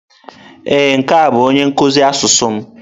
Ee, nke a bụ onye nkuzi asụsụ m?